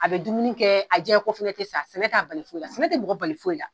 A be dumuni kɛ, a jɛɲeko fɛnɛ ti sa sɛnɛ t'a bali foyi la, sɛnɛ ti mɔgɔ bali foyi la.